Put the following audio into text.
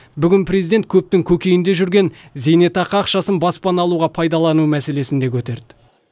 бүгін президент көптің көкейінде жүрген зейнетақы ақшасын баспана алуға пайдалану мәселесін де көтерді